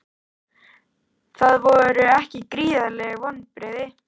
Voru það ekki gríðarleg vonbrigði?